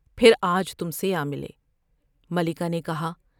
پھر آج تم سے آ ملے '' ملکہ نے کہا ۔